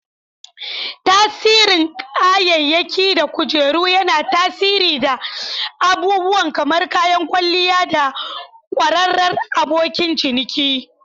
Tsarin kayayyaki da kujeru yana tasiri da abubuwa kamar kayan kwalliya da kwararar abokin ciniki.